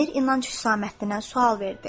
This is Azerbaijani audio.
Əmir İnanc Husaməddinə sual verdi: